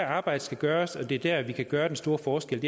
arbejdet skal gøres og det er der vi kan gøre den store forskel